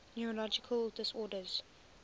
neurological disorders